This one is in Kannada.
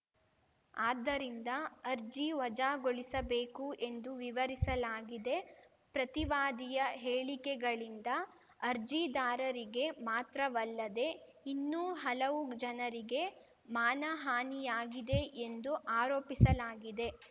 ಆದ್ದರಿಂದ ಅರ್ಜಿ ವಜಾಗೊಳಿಸಬೇಕು ಎಂದು ವಿವರಿಸಲಾಗಿದೆ ಪ್ರತಿವಾದಿಯ ಹೇಳಿಕೆಗಳಿಂದ ಅರ್ಜಿದಾರರಿಗೆ ಮಾತ್ರವಲ್ಲದೆ ಇನ್ನೂ ಹಲವು ಜನರಿಗೆ ಮಾನಹಾನಿಯಾಗಿದೆ ಎಂದು ಆರೋಪಿಸಲಾಗಿದೆ